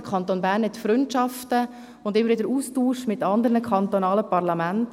Der Kanton Bern hat Freundschaften und pflegt immer wieder den Austausch mit anderen kantonalen Parlamenten.